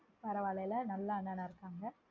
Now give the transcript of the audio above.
பரவாயில்லல நல்ல அண்ணணா இருகாங்க